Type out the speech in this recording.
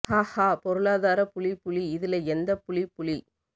ஹா ஹா பொருளாதார புலி புளி இதுல எந்த புலி புளி